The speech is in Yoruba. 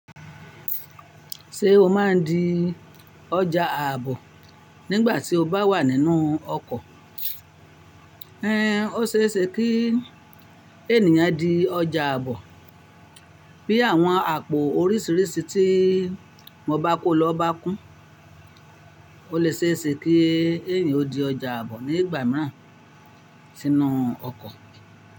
Ṣé o máa ń di ọjà àbò nígbà tí o bá wà nínú ọkọ̀? Ẹn, ó ṣe é ṣe kí ènìyàn di ọjà àbọ bí àwọn àpò oríṣiríṣi tí mo bá kó lọ bá kún. Ó lè se é se kí ènìyàn ó di ọjà àbọ ní igbà mìíràn sínú ọkọ̀